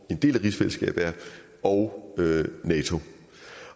en del af rigsfællesskabet er det og nato